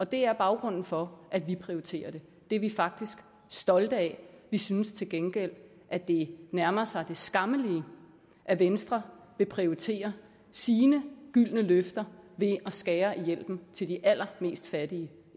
det er baggrunden for at vi prioriterer det det er vi faktisk stolte af vi synes til gengæld at det nærmer sig det skammelige at venstre vil prioritere sine gyldne løfter ved at skære i hjælpen til de allermest fattige